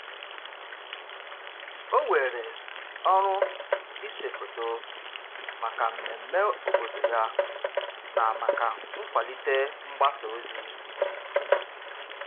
O weere ọrụ ise foto maka mmemme obodo ya na maka nkwalite mgbasa ozi.